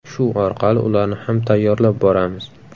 Shu orqali ularni ham tayyorlab boramiz.